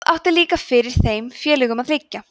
það átti líka fyrir þeim félögunum að liggja